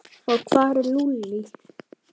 Og hvar er Lúlli?